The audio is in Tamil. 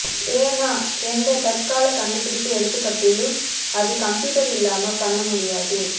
ஏனா எந்த தற்கால கண்டுபிடிப்பு எடுத்துக்கட்டலும் அத கம்ப்யூட்டர் இல்லாம பண்ண முடியாது